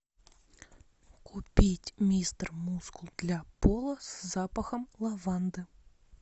купить мистер мускул для пола с запахом лаванды